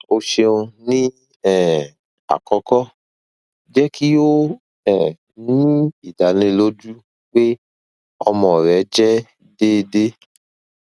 o ṣeun ni um akọkọ jẹ ki o um ni idaniloju pe ọmọ rẹ jẹ deede